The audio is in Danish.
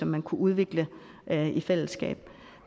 man kunne udvikle i fællesskab